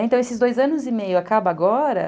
Então, esses dois anos e meio acabam agora.